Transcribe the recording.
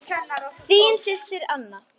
Þín systir, Anna.